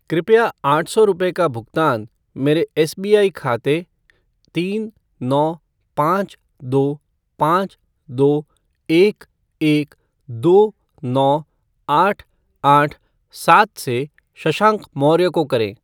कृपया आठ सौ रुपये का भुगतान मेरे एसबीआई खाते तीन नौ पाँच दो पाँच दो एक एक दो नौ आठ आठ सात से शशांक मौर्य को करें।